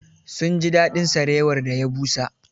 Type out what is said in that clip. Sun ji daɗin sarewar da ya busa.